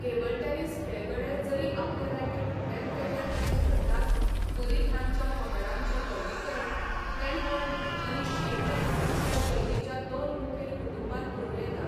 Table tennis खेळगडे जरी आपले रॅकेट वेगवेगळ्या तरेन धरतात तरी तांच्या पकडांचें वर्गीकरण पेनहोल्ड आनी शेकहॅंड ह्या शैलींच्या दोन मुखेल कुटुंबांत करूं येता.